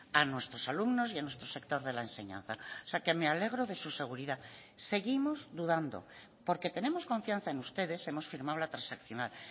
a nuestros alumnos y a nuestro sector de la enseñanza o sea que me alegro de su seguridad seguimos dudando porque tenemos confianza en ustedes hemos firmado la transaccional